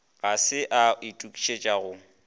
ga se a itokišetša go